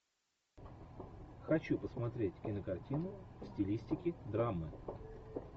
хочу посмотреть кинокартину в стилистике драмы